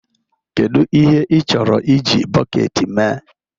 Kedu ihe ị chọrọ iji bọket mee?